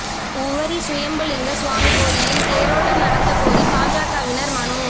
உவரி சுயம்புலிங்க சுவாமி கோயிலில் தேரோட்டம் நடத்தக் கோரி பாஜகவினா் மனு